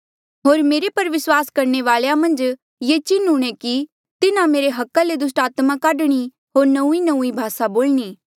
होर मेरे पर विस्वास करणे वालेया मन्झ ये चिन्ह हूंणे कि तिन्हा मेरे अधिकार ले दुस्टात्मा काढणी होर नौंईंनौंईं भासा बोलणी